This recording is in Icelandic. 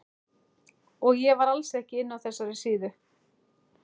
Og ég var alls ekki inni á þessari síðu!